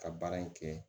Ka baara in kɛ